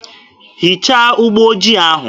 Hichaa ụgbọ ojii ahụ!